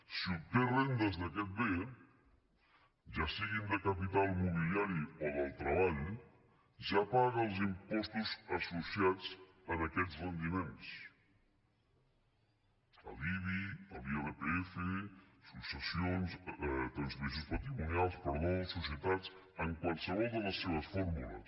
si obté rendes d’aquest bé ja siguin de capital mobiliari o del treball ja paga els impostos associats en aquests rendiments l’ibi l’irpf transmissions patrimonials societats en qualsevol de les seves fórmules